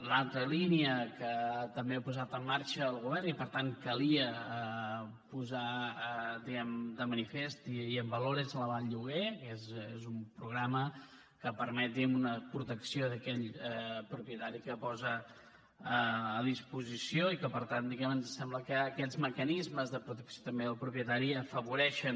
l’altra línia que també ha posat en marxa el govern i per tant calia posar de manifest i en valor és l’aval lloguer que és un programa que permet una protecció d’aquell propietari que posa a disposició i que per tant diguem ne ens sembla que aquests mecanismes de protecció també del propietari afavoreixen